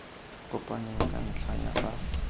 kopaneng ka ntlha ya fa